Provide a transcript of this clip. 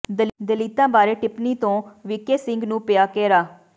ਦਲਿਤਾਂ ਬਾਰੇ ਟਿੱਪਣੀ ਤੋਂ ਵੀਕੇ ਸਿੰਘ ਨੂੰ ਪਿਆ ਘੇਰਾ